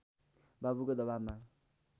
बाबुको दबाबमा